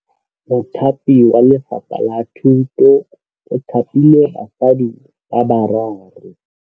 Mothapi wa Lefapha la Thutô o thapile basadi ba ba raro.